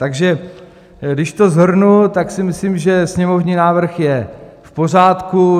Takže když to shrnu, tak si myslím, že sněmovní návrh je v pořádku.